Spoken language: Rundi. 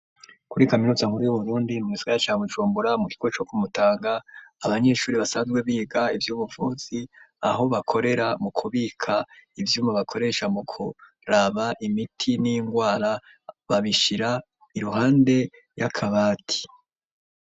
Kuri kaminuza nkuru y’uburundi mu gisagara ca bujumbura mukigo co kumutanga ,abanyeshure basanzwe biga ivy’ubuvuzi aho bakorera mukubika ivyuma bakoresha mukuraba imiti ningwara babishira iruhande yakabati.